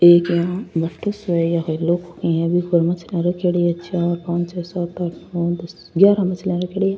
एक यहाँ कोई बी पर मछलिया रखयोड़ी है चार पांच और सात आठ नौ दस ग्यारह मछलियां रखयोड़ी है।